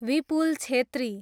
Vipul Chhetri